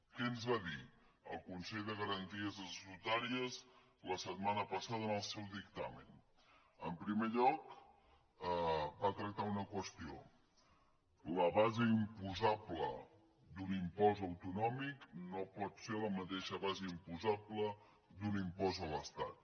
què ens va dir el consell de garanties estatutàries la setmana passada en el seu dictamen en primer lloc va tractar una qüestió la base imposable d’un impost autonòmic no pot ser la mateixa base imposable d’un impost a l’estat